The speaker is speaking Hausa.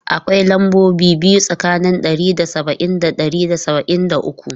Akwai lambobi biyu tsakanin ɗari da saba'in da ɗari da saba'in da uku.